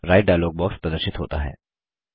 right dialog box प्रदर्शित होता है